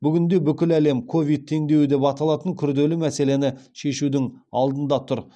бүгінде бүкіл әлем ковид теңдеуі деп аталатын күрделі мәселені шешудің алдында тұр